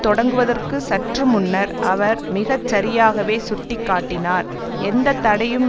தொடங்குவதற்கு சற்று முன்னர் அவர் மிக சரியாகவே சுட்டி காட்டினார் எந்த தடையும்